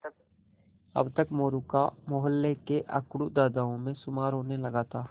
अब तक मोरू का मौहल्ले के अकड़ू दादाओं में शुमार होने लगा था